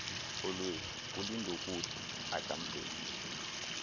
olwethu ulindokuhle ukamvelihle